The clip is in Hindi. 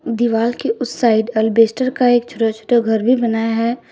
दीवाल के उस साइड अल्बेस्टर का एक छोटा छोटा घर भी बनाया है।